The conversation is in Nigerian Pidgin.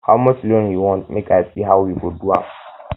how much loan you want make i see how we go do am